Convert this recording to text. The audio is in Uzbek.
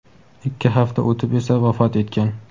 ikki hafta o‘tib esa vafot etgan.